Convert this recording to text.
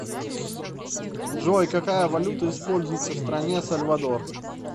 джой какая валюта используется в стране сальвадор